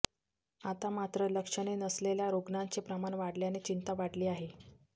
आता मात्र लक्षणे नसलेल्या रुग्णांचे प्रमाण वाढल्याने चिंता वाढली आहे